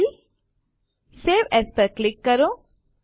file save as પર click કરો